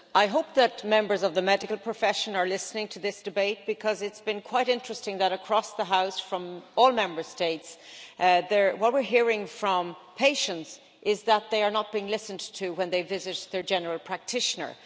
I hope that members of the medical profession are listening to this debate, because it has been quite interesting that, across the House from all Member States, what we are hearing from patients is that they are not being listened to when they visit their general practitioner.